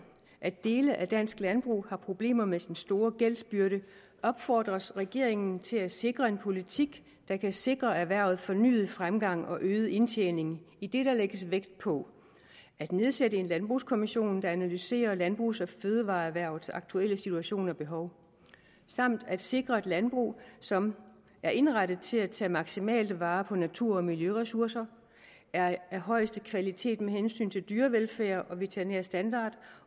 at dele af dansk landbrug har problemer med sin store gældsbyrde opfordres regeringen til at sikre en politik der kan sikre erhvervet fornyet fremgang og øget indtjening idet der lægges vægt på at nedsætte en landbrugskommission der analyserer landbrugs og fødevareerhvervets aktuelle situation og behov samt at sikre et landbrug som er indrettet til at tage maksimalt vare på natur og miljøressoucer er af højeste kvalitet med hensyn til dyrevelfærd og veterinær standard